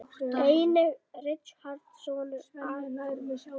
Einnig á Richard soninn Arthur.